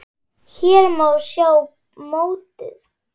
Hér má sjá mótið.